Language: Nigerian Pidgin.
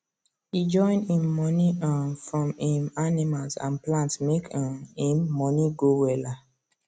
e join him money um from him animals and plants make um him money go wella